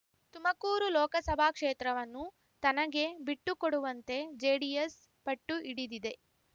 ತುಮಕೂರು ಲೋಕಸಭಾ ಕ್ಷೇತ್ರವನ್ನು ತನಗೆ ಬಿಟ್ಟುಕೊಡುವಂತೆ ಜೆಡಿಎಸ್ ಪಟ್ಟುಹಿಡಿದಿದೆ